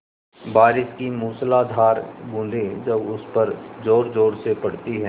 बारिश की मूसलाधार बूँदें जब उस पर ज़ोरज़ोर से पड़ती हैं